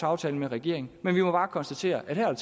aftale med regeringen men jeg må bare konstatere at her er